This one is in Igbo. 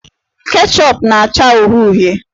Ketchup na-acha uhie uhie.